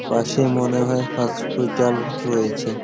পশে মনে হয় হসপিতাল রয়েছে ।